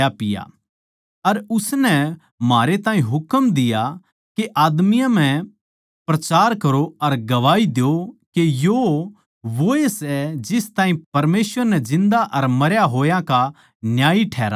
अर उसनै म्हारै ताहीं हुकम दिया के आदमियाँ म्ह प्रचार करो अर गवाही द्यो के यो वोए सै जिस ताहीं परमेसवर नै जिन्दा अर मरया होया का न्यायी ठहराया सै